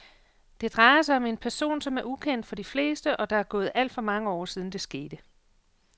Det drejer sig om en person, som er ukendt for de fleste og der er gået alt for mange år siden det skete.